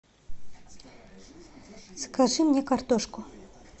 закажи мне картошку